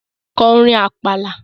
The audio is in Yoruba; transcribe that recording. Ko orin Àpàlà!